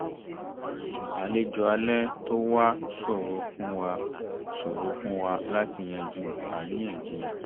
àlejò alẹ́ tó wá ṣòro fún wá ṣòro fún wọn láti yanjú àríyànjiyàn